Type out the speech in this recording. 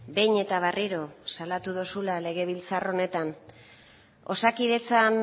behin eta berriro salatu dozula legebiltzar honetan osakidetzan